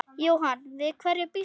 Jóhann: Við hverju býstu?